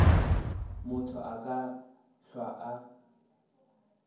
motho a ka hlwa a